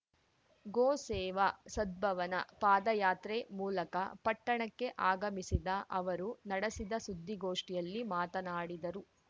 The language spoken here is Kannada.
ಗೋ ಸೇವಾ ಸದ್ಭವನಾ ಪಾದಯಾತ್ರೆ ಮೂಲಕ ಪಟ್ಟಣಕ್ಕೆ ಆಗಮಿಸಿದ ಅವರು ನಡೆಸಿದ ಸುದ್ದಿಗೋಷ್ಟಿಯಲ್ಲಿ ಮಾತನಾಡಿದರು